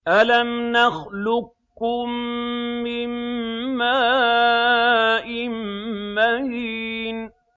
أَلَمْ نَخْلُقكُّم مِّن مَّاءٍ مَّهِينٍ